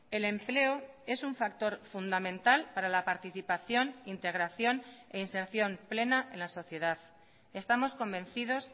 el empleo es un factor fundamental para la participación integración e inserción plena en la sociedad estamos convencidos